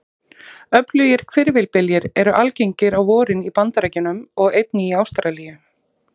Öflugir hvirfilbyljir eru algengir á vorin í Bandaríkjunum og einnig í Ástralíu.